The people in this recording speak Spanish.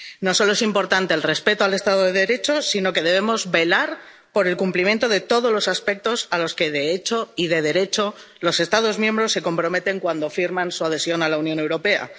No solo es importante el respeto al Estado de Derecho, sino que debemos velar por el cumplimiento de todos los aspectos a los que, de hecho y de derecho, los Estados miembros se comprometen cuando firman su adhesión a la Unión Europea.